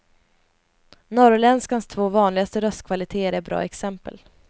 Norrländskans två vanligaste röstkvaliteter är bra exempel.